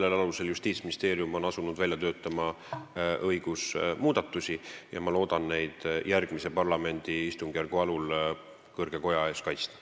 Selle alusel on Justiitsministeerium asunud välja töötama seadusmuudatusi ja ma loodan neid järgmise parlamendi istungjärgu alul kõrge koja ees kaitsta.